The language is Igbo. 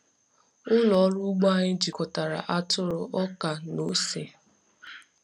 Ụlọ ọrụ ugbo anyị jikọtara atụrụ, ọka, na ose.